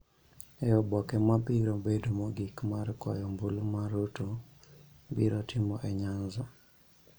e oboke ma biro bedo mogik mar kwayo ombulu ma Ruto biro timo e Nyanza.